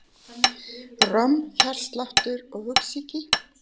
Romm, hjartsláttur, hugsýki.